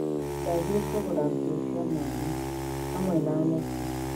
Ndathiĩ kũgũra nguo cia mwana. Hamwe na neti.